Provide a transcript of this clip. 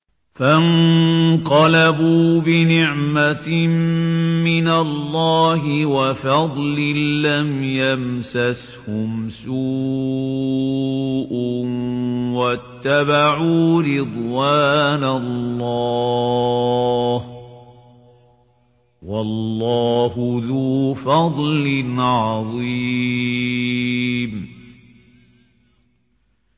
فَانقَلَبُوا بِنِعْمَةٍ مِّنَ اللَّهِ وَفَضْلٍ لَّمْ يَمْسَسْهُمْ سُوءٌ وَاتَّبَعُوا رِضْوَانَ اللَّهِ ۗ وَاللَّهُ ذُو فَضْلٍ عَظِيمٍ